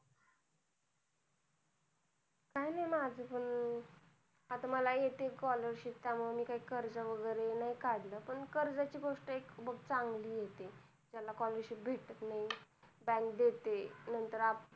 काय नाही माझ पण आता मला येते scholarship त्यामुळे मी काय कर्ज वैगेरे नाही काढलं पण कर्ज ची गोष्ट एक चांगली आहे ती जेना scholarship भेटत नाही bank देते नंतर आपण